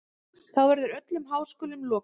Þá verður öllum háskólum lokað.